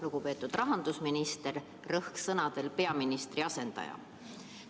Lugupeetud rahandusminister, rõhuga sõnadel "peaministri asendaja"!